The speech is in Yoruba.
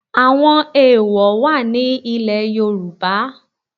Àwọn èèwọ̀ wà ní ilẹ̀ Yorùbá